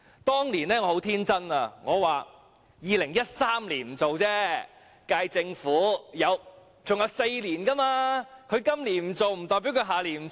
"當年我很天真，我想 ：2013 年不做，但現屆政府還有4年，他今年不做不代表他下年不做。